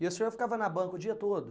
E o senhor ficava na banca o dia todo?